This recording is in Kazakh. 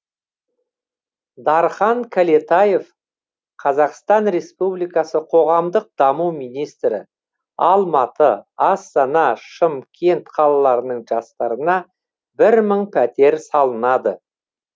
дархан кәлетаев қазақстан республикасы қоғамдық даму министрі алматы астана шымкент қалаларының жастарына бір мың пәтер салынады